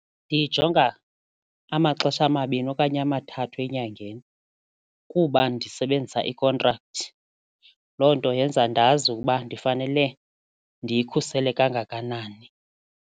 Ndiyijonga amaxesha amabini okanye amathathu enyangeni kuba ndisebenzisa ikhontrakthi loo nto yenza ndazi ukuba ndifanele ndiyikhusele kangakanani.